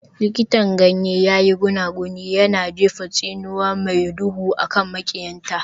Likitan ganyen ya yi gunaguni, yana jefa tsinuwa mai duhu a kan maƙiyanta.